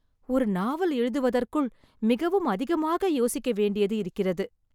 ஒரு நாவல் எழுதுவதற்குள் மிகவும் அதிகமாக யோசிக்க வேண்டியது இருக்கிறது.